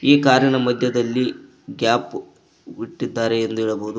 ಈ ಕಾರಿನ ಮಧ್ಯದಲ್ಲಿ ಗ್ಯಾಪ್ ಬಿಟ್ಟಿದ್ದಾರೆ ಎಂದು ಹೇಳಬಹುದು.